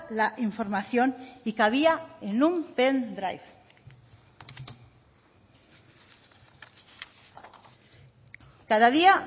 la información y cabía en un pen drive cada día